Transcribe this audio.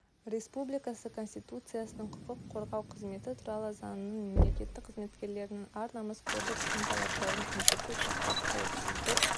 республикасы конституциясының құқық қорғау қызметі туралы заңының мемлекеттік қызметкерлірінің ар-намыс кодексінің талаптарын мүлтіксіз сақтап қауіпсіздік